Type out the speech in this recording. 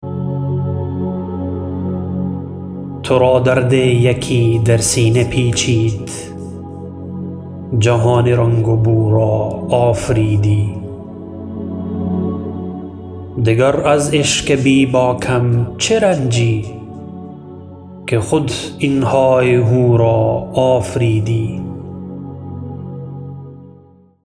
ترا درد یکی در سینه پیچید جهان رنگ و بو را آفریدی دگر از عشق بیباکم چه رنجی که خود این های و هو را آفریدی